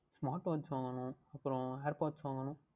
Smart Watch வாங்கவேண்டும் அப்புறம் Earpods வாங்கவேண்டும்